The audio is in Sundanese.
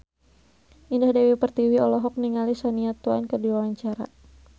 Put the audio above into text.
Indah Dewi Pertiwi olohok ningali Shania Twain keur diwawancara